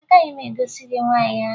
Agaghị m egosi gị nwaanyị ahụ